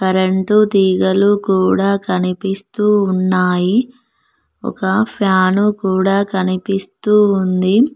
రెండు తీగలు కూడా కనిపిస్తూ ఉన్నాయి ఒక ఫ్యాను కూడా కనిపిస్తూ ఉంది.